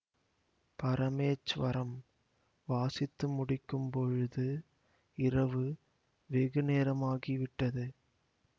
பரமேச்வரம் வாசித்து முடிக்கும் பொழுது இரவு வெகு நேரமாகி விட்டது